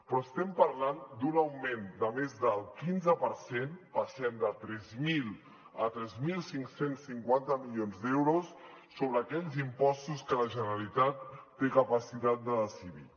però estem parlant d’un augment de més del quinze per cent passem de tres mil a tres mil cinc cents i cinquanta milions d’euros sobre aquells impostos que la generalitat té capacitat de decidir